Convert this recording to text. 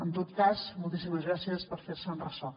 en tot cas moltíssimes gràcies per fer se’n ressò